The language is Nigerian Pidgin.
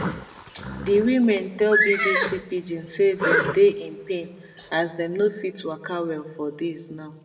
di women tell bbc pidgin say dem dey in pain as dem no fit waka well for days now